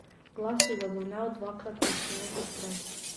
Glas je zadonel dvakrat močneje kot prej.